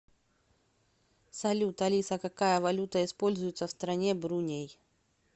салют алиса какая валюта используется в стране бруней